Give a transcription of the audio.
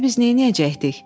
Bəs indi biz neyləyəcəkdik?